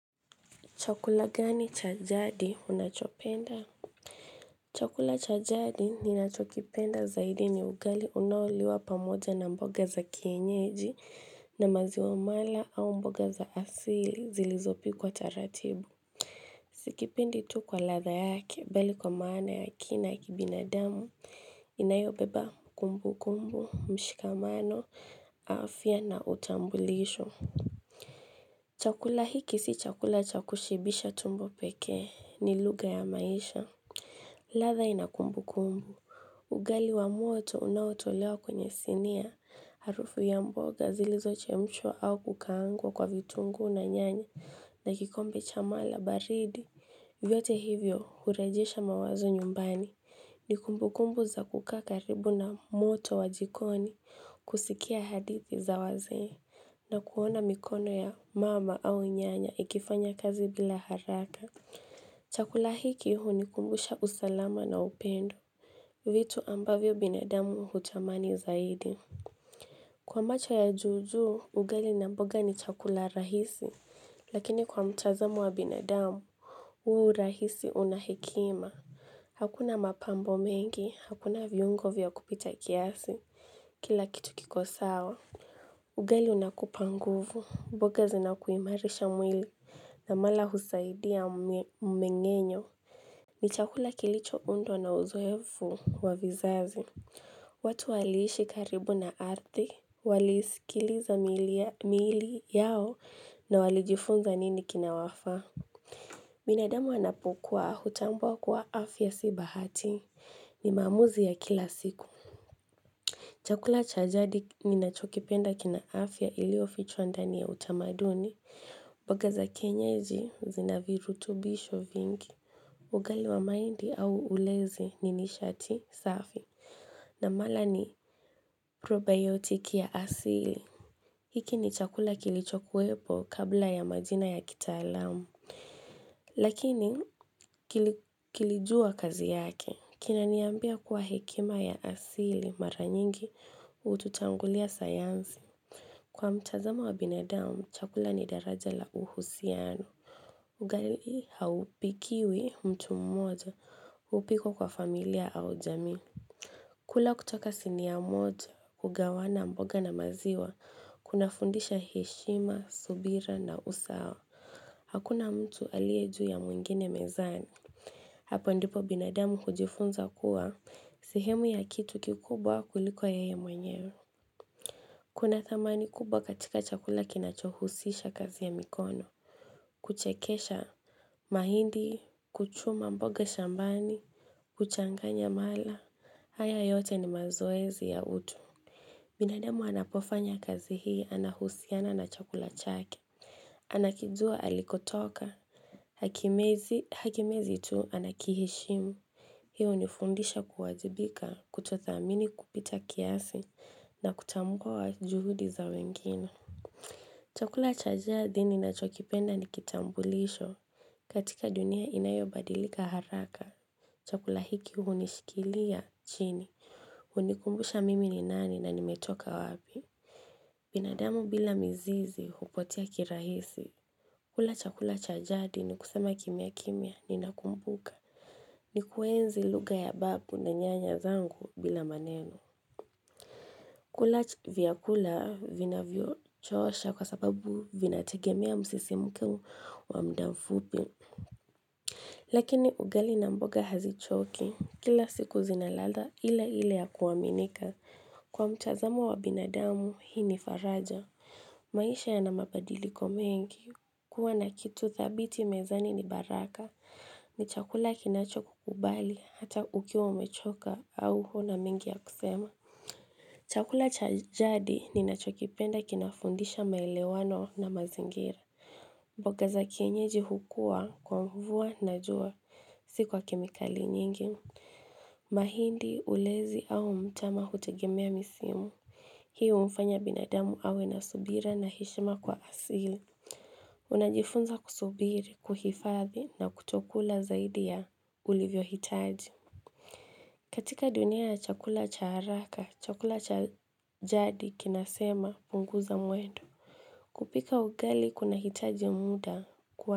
Chakula gani cha jadi unachopenda? Chakula cha jadi ninachokipenda zaidi ni ugali unaoliwa pamoja na mboga za kienyeji na maziwa mala au mboga za asili zilizopikwa taratibu. Sikipendi tu kwa ladha yake bali kwa maana ya kina kibinadamu inayobeba kumbukumbu mshikamano afya na utambulisho. Chakula hiki si chakula cha kushibisha tumbo pekee ni lugha ya maisha ladha ina kumbukumbu ugali wa moto unaotolewa kwenye sinia harufu ya mboga zilizo chemshwa au kukaangwa kwa vitungu na nyanya na kikombe cha mala baridi vyote hivyo hurejesha mawazo nyumbani ni kumbukumbu za kukaa karibu na moto wa jikoni kusikia hadithi za wazee na kuona mikono ya mama au nyanya ikifanya kazi bila haraka. Chakula hiki hunikumbusha usalama na upendo. Vitu ambavyo binadamu hutamani zaidi. Kwa macho ya juu juu, ugali na mboga ni chakula rahisi. Lakini kwa mtazamo wa binadamu, huu urahisi una hekima. Hakuna mapambo mengi, hakuna viungo vya kupita kiasi. Kila kitu kiko sawa. Ugali unakupa nguvu, mboga zinakuimarisha mwili na mala husaidia mmeng'enyo. Ni chakula kilicho undwa na uzoefu wa vizazi. Watu waliishi karibu na ardhi. Walisikiliza miili yao na walijifunza nini kina wafaa. Binadamu anapukua hutambua kuwa afya si bahati. Ni maamuzi ya kila siku. Chakula cha jadi ninachokipenda kina afya ilio fichwa ndani ya utamaduni, mboga za kienyeji zina virutubisho vingi. Ugali wa mahindi au ulezi ni nishati safi na mala ni probiotiki ya asili. Hiki ni chakula kilichokuwepo kabla ya majina ya kitaalamu. Lakini kilijua kazi yake, kinaniambia kuwa hekima ya asili mara nyingi hututangulia sayansi Kwa mchazamo wa binadamu, chakula ni daraja la uhusiano ugali haupikiwi mtu mmoja, hupikwa kwa familia au jamii kula kutoka sinia moja, hugawana mboga na maziwa, kuna fundisha heshima, subira na usawa, hakuna mtu aliye juu ya mwingine mezani Hapo ndipo binadamu hujifunza kuwa, sehemu ya kitu kikubwa kuliko yeye mwenyewe. Kuna thamani kubwa katika chakula kinachohusisha kazi ya mikono. Kuchekesha mahindi, kuchuma mboga shambani, kuchanganya mala. Haya yote ni mazoezi ya utu. Binadamu anapofanya kazi hii anahusiana na chakula chake. Anakijua alikotoka. Hakimezi tu ana kiheshimu. Hiu hunifundisha kuwajibika kutothamini kupita kiasi na kutambua juhudi za wengine. Chakula cha jadi ninachokipenda ni kitambulisho. Katika dunia inayobadilika haraka, chakula hiki hunishikilia chini. Hunikumbusha mimi ni nani na nimetoka wapi? Binadamu bila mizizi hupotea kirahisi. Kula chakula cha jadi ni kusema kimya kimya ninakumbuka. Ni kuenzi lugha ya babu na nyanya zangu bila maneno kula vyakula vinavyo chosha kwa sababu vinategemea msisimko wa mda mfupi Lakini ugali na mboga hazichoki kila siku zina ladha ile ile ya kuaminika Kwa mtazamo wa binadamu hii ni faraja maisha yana mabadiliko mengi kuwa na kitu thabiti mezani ni baraka ni chakula kinacho kukubali hata ukiwa umechoka au huna mengi ya kusema Chakula cha jadi ninachokipenda kinafundisha maelewano na mazingira mboga za kienyeji hukua, kwa mvua na jua, si kwa kemikali nyingi mahindi ulezi au mtama hutegemea misimu Hiu humfanya binadamu awe na subira na heshima kwa asil Unajifunza kusubiri, kuhifadhi na kutokula zaidi ya ulivyo hitaji katika dunia ya chakula cha haraka, chakula cha jadi kinasema punguza mwendo kupika ugali kunahitaji muda kwa.